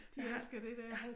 De elsker det der